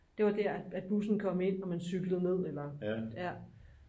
det var der at bussen kom ind og man cyklede ned eller